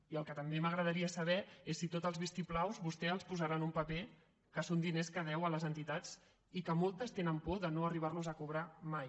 i el que també m’agradaria saber és si tots els vistiplaus vostè els posarà en un paper que són diners que deu a les entitats i que moltes tenen por de no arribarlos a cobrar mai